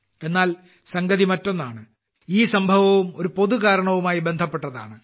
എന്നാൽ സംഗതി മറ്റൊന്നാണ് ഈ സംഭവവും ഒരു പൊതു ഉദ്ദേശ്യവുമായി ബന്ധപ്പെട്ടതാണ്